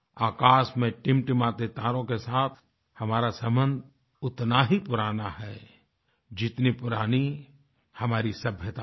आकाश में टिमटिमाते तारों के साथ हमारा संबंध उतना ही पुराना है जितनी पुरानी हमारी सभ्यता है